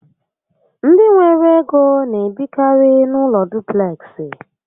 Ndị nwere ego n'ebikari n'ụlọ dupleksị